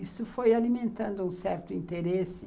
Isso foi alimentando um certo interesse.